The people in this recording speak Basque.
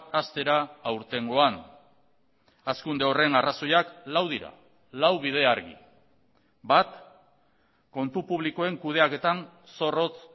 haztera aurtengoan hazkunde horren arrazoiak lau dira lau bide argi bat kontu publikoen kudeaketan zorrotz